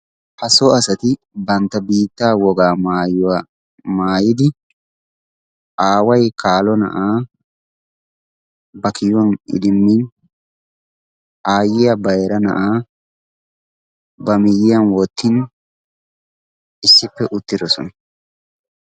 Ha so asati bantta biittaa wogaa maayuwa maayidi aaway kaalo na'aa ba kiyuwan idimmin aayyiya bayira na'aa ba miyyiyan wottin issippe uttidosona.